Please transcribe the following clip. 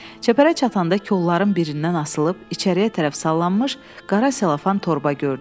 Çəpərə çatanda kollardan birindən asılıb içəriyə tərəf sallanmış qara selofan torba gördüm.